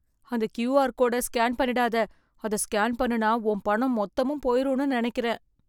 அந்த க்யூஆர் கோடை ஸ்கேன் பண்ணிடாத. அத ஸ்கேன் பண்ணுனா உன் பணம் மொத்தமும் போயிரும்னு நினைக்கறேன்.